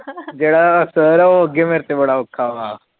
ਜਿਹੜਾ ਸਰ ਆ ਉਹ ਮੇਤੇ ਬੜਾ ਅੋਖਾ